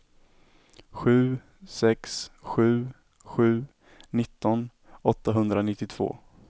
sju sex sju sju nitton åttahundranittiotvå